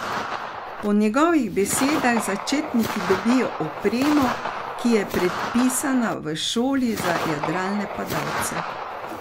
Po njegovih besedah začetniki dobijo opremo, ki je predpisana, v šoli za jadralne padalce.